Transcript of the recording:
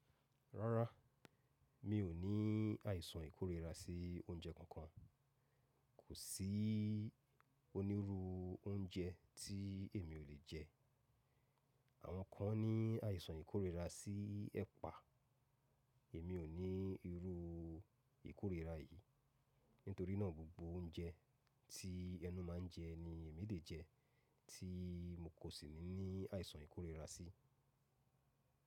Rárá, mi ò ní àìsàn ìkórira sí oúnjẹ kankan. Kò sí onírú oúnjẹ tí èmi ò lè jẹ. Àwọn kan ní àìsàn ìkórira sí ẹ̀pà, èmi ò ní irú ìkórira yìí. Nítorínà gbogbo oúnjẹ tí ẹnu má ń jẹ ni èmi lè jẹ, tí n kò sì ní àìsàn ìkórira sí.